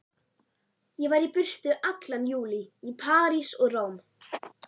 Ég var í burtu allan júlí, í París og Róm.